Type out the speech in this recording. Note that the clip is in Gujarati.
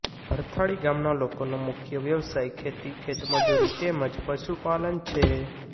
ભરથાળી ગામના લોકોનો મુખ્ય વ્યવસાય ખેતી ખેતમજૂરી તેમ જ પશુપાલન છે